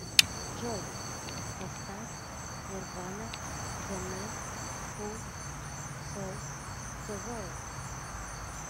джой поставь нирвана зэ мэн ху солд зэ ворлд